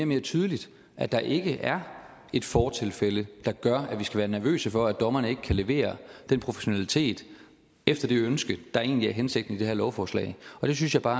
mere tydeligt at der ikke er et fortilfælde der gør at vi skal være nervøse for at dommerne ikke kan levere den professionalitet efter det ønske der egentlig er hensigten i det her lovforslag jeg synes bare